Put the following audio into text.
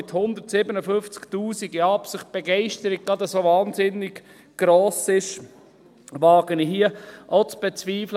Ob mit 157 000 in Absicht, die Begeisterung gerade so wahnsinnig gross ist, wage ich hier auch zu bezweifeln.